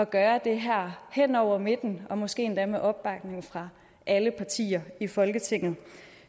gøre det her hen over midten og måske endda med opbakning fra alle partier i folketinget